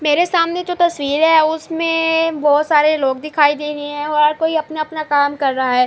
میرے سامنے جو تشویر ہے۔ اسمے بھوت سارے لوگ دکھائی دے رہے ہے۔ ہر کوئی اپنا اپنا کام کر رہا ہے۔